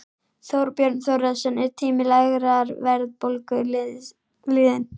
Þorbjörn Þórðarson: Er tími lágrar verðbólgu liðinn?